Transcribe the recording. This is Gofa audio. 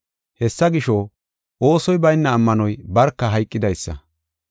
Hessa gisho, oosoy bayna ammanoy barka hayqidaysa.